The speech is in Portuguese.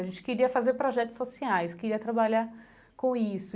A gente queria fazer projetos sociais, queria trabalhar com isso.